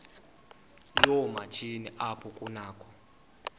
yoomatshini apho kunakho